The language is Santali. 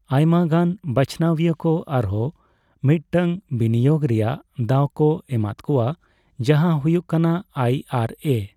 ᱟᱭᱢᱟᱜᱟᱱ ᱵᱟᱪᱷᱱᱟᱣᱤᱭᱟᱹ ᱠᱚ ᱟᱨᱦᱚᱸ ᱢᱤᱫᱴᱟᱝ ᱵᱤᱱᱤᱭᱳᱜ ᱨᱮᱭᱟᱜ ᱫᱟᱣ ᱠᱚ ᱮᱢᱟᱫ ᱠᱚᱣᱟ ᱡᱟᱦᱟᱸ ᱦᱩᱭᱩᱜ ᱠᱟᱱᱟ ᱟᱭᱹ ᱟᱨᱹ ᱮᱹ ᱾